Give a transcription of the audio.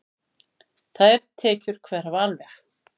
Þær tekjur hverfa alveg.